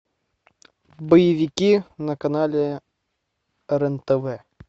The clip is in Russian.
боевики на канале рен тв